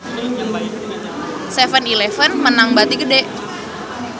7-eleven meunang bati gede